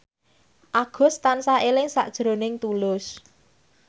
Agus tansah eling sakjroning Tulus